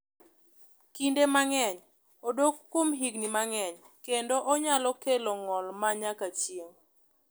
Kinde mang’eny odak kuom higni mang’eny kendo onyalo kelo ng’ol ma nyaka chieng’.